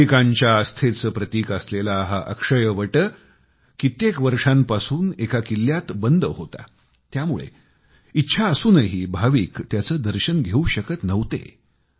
भाविकांच्या आस्थेचं प्रतीक असलेला हा अक्षयवट कित्येक वर्षांपासून एका किल्यात बंद होता त्यामुळे इच्छा असूनही भाविक त्याचे दर्शन घेऊ शकत नव्हते